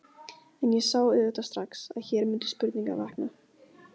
En ég sá auðvitað strax, að hér mundu spurningar vakna.